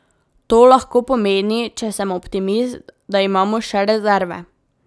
To lahko pomeni, če sem optimist, da imamo še rezerve.